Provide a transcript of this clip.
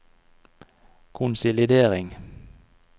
konsolidering